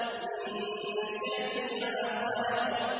مِن شَرِّ مَا خَلَقَ